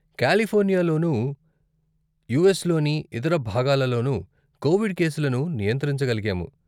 కాలిఫోర్నియాలోనూ, యూఎస్లోని ఇతర భాగాల లోనూ కోవిడ్ కేసులను నియంత్రించగలిగాము.